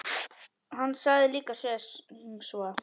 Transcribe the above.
Hann sagði líka sem svo